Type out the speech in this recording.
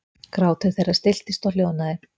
Grátur þeirra stilltist og hljóðnaði.